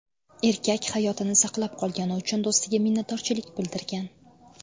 Erkak hayotini saqlab qolgani uchun do‘stiga minnatdorchilik bildirgan.